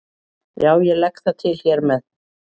Já, ég legg það til hér með.